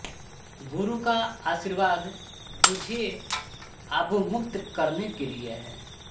गुरु का आशीर्वाद तुझे आबूमुक्त करने के लिए है